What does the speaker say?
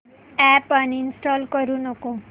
app uninstall करू नको